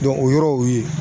o yɔrɔ o ye